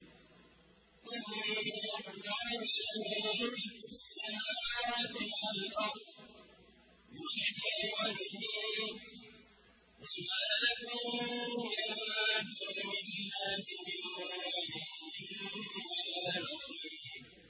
إِنَّ اللَّهَ لَهُ مُلْكُ السَّمَاوَاتِ وَالْأَرْضِ ۖ يُحْيِي وَيُمِيتُ ۚ وَمَا لَكُم مِّن دُونِ اللَّهِ مِن وَلِيٍّ وَلَا نَصِيرٍ